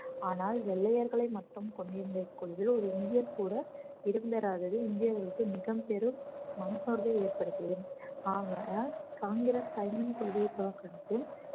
ஆனால் வெள்ளையர்களை மட்டும் கொண்டிருந்த இக்குழுவில் ஒரு இந்தியர் கூட இடம் பெறாதது இந்தியர்களுக்கு மிகப்பெரும் மனசோர்வை ஏற்படுத்தியது ஆகையால் காங்கிரஸ் சைமன் கொள்கையை புறக்கணித்து